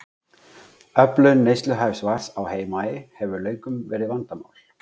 Öflun neysluhæfs vatns á Heimaey hefur löngum verið vandamál.